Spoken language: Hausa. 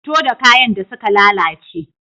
Fito da kayan da suka lalace.